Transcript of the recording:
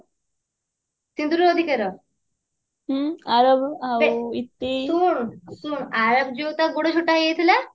ସିନ୍ଦୁରର ଅଧିକାର ଶୁଣ ଶୁଣ ଆରବ ଯୋଉ ତ ଗୋଡ ଛୋଟା ହେଇଯାଇଥିଲା